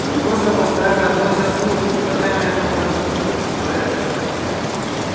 они просто постоянно вносят смуту и со временем это может вызвать беспорядки